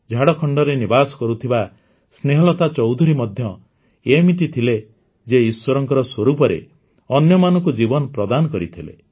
ଝାଡ଼ଖଣ୍ଡରେ ନିବାସ କରୁଥିବା ସ୍ନେହଲତା ଚୌଧୁରୀ ମଧ୍ୟ ଏଇମିତି ଥିଲେ ଯିଏ ଈଶ୍ୱରଙ୍କ ସ୍ୱରୂପରେ ଅନ୍ୟମାନଙ୍କୁ ଜୀବନ ପ୍ରଦାନ କରିଥିଲେ